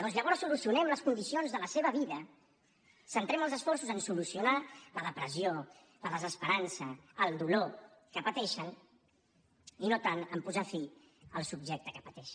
doncs llavors solucionem les condicions de la seva vida centrem els esforços en solucionar la depressió la desesperança el dolor que pateixen i no tant en posar fi al subjecte que pateix